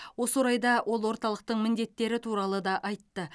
осы орайда ол орталықтың міндеттері туралы да айтты